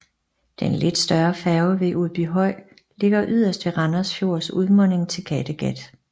Den lidt større færge ved Udbyhøj ligger yderst ved Randers Fjords udmunding til Kattegat